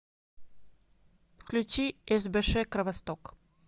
включи сбш кровосток